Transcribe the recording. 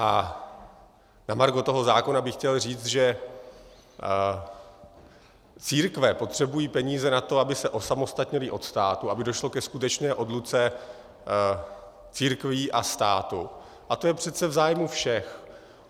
A na margo toho zákona bych chtěl říct, že církve potřebují peníze na to, aby se osamostatnily od státu, aby došlo ke skutečné odluce církví a státu, a to je přece v zájmu všech.